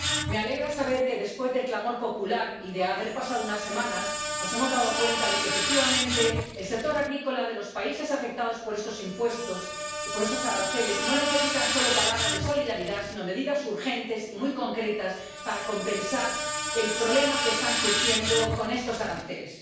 Me alegra saber que, después del clamor popular y de haber pasado unas semanas, nos hemos dado cuenta de que, efectivamente, el sector agrícola de los países afectados por estos impuestos y por estos aranceles no necesita solo palabras de solidaridad sino medidas urgentes y muy concretas para compensar el problema que está surgiendo con estos aranceles.